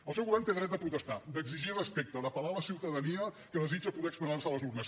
el seu govern té dret a protestar exigir respecte apel·lar a la ciutadania que desitja poder expressar se a les urnes